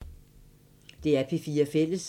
DR P4 Fælles